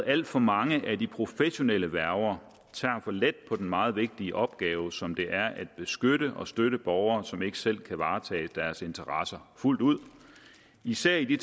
alt for mange af de professionelle værger tager for let på den meget vigtige opgave som det er at beskytte og støtte borgere som ikke selv kan varetage deres interesser fuldt ud især i de